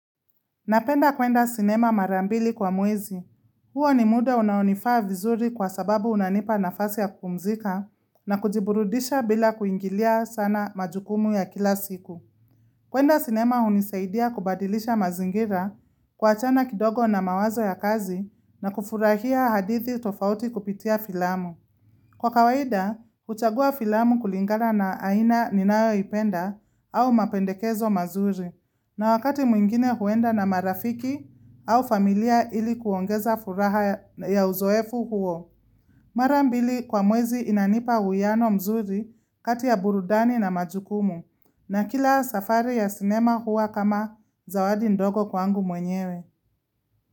Napenda kwenda sinema mara mbili kwa mwezi. Huo ni muda unaonifaa vizuri kwa sababu unanipa nafasi ya kupumzika na kujiburudisha bila kuingilia sana majukumu ya kila siku. Kwenda sinema hunisaidia kubadilisha mazingira, kuachana kidogo na mawazo ya kazi na kufurahia hadithi tofauti kupitia filamu. Kwa kawaida, huchagua filamu kulingana na aina ninayoipenda au mapendekezo mazuri na wakati mwingine huenda na marafiki au familia ili kuongeza furaha ya uzoefu huo. Mara mbili kwa mwezi inanipa uwiyano mzuri kati ya burudani na majukumu na kila safari ya sinema hua kama zawadi ndogo kwangu mwenyewe.